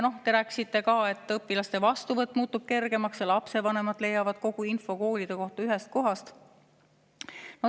Te rääkisite ka, et õpilaste vastuvõtt muutub kergemaks ja lapsevanemad leiavad kogu info koolide kohta ühest kohast.